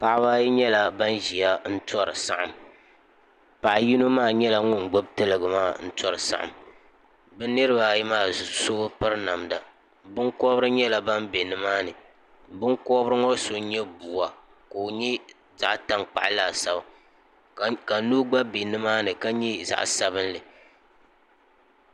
paɣaba ayi nyɛla ban ʒiya n tori saɣam paɣa yino nyɛla ŋun gbubi tiligi maa tori saɣam bi niraba ayi maa so bi piri namda nima binkobiri nyɛla ban bɛ nimaani binkobiri ŋo so n nyɛ buwa ka o nyɛ zaɣ tankpaɣu laasabu ka noo gba bɛ nimaani ka nyɛ zaɣ sabinli